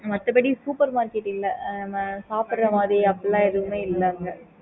okay mam